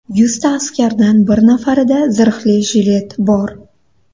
Yuzta askardan bir nafarida zirhli jilet bor.